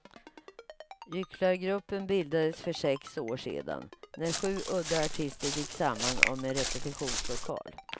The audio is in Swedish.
Gycklargruppen bildades för sex år sedan, när sju udda artister gick samman om en repetitionslokal.